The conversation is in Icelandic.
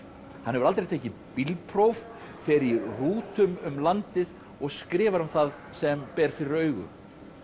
hann hefur aldrei tekið bílpróf fer í rútum um landið og skrifar um það sem ber fyrir augu